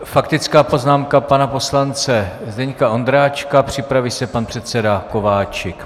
Faktická poznámka pana poslance Zdeňka Ondráčka, připraví se pan předseda Kováčik.